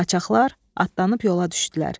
Qaçaqlar atlanıb yola düşdülər.